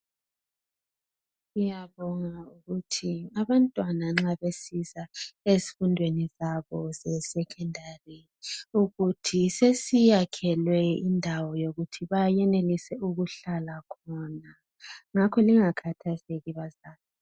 Siyabonga ukuthi abantwana nxa besiza ezifundweni zabo zesecondary ukuthi sesiyakhelwe indawo yokuthi bayenelisa ukuhlala khona ngakho lingakhathazeki bazali.